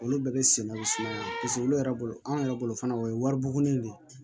Olu bɛɛ bɛ sɛnɛ bɛ suma na paseke olu yɛrɛ bolo anw yɛrɛ bolo fana o ye wariburuni de ye